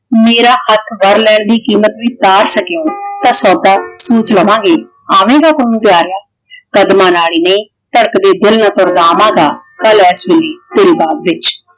ਮੇਰਾ ਹੱਥ ਵਰ ਲੈਣ ਦੀ ਕੀਮਤ ਵੀ ਤਾਰ ਸਕੇਂਗਾ ਤਾਂ ਸੌਦਾ ਸੋਚ ਲਵਾਂਗੇ। ਆਵੇਂਗਾ ਪੁੰਨੂੰ ਪਿਆਰਿਆਂ। ਕਰਮ ਵਾਲੀਏ ਧੜਕਦੇ ਦਿਲ ਨਾਲ ਤੁਰਦਾ ਆਵਾਂਗਾ। ਕੱਲ ਏਸ ਵੇਲੇ ਤੇਰੇ ਬਾਗ ਵਿੱਚ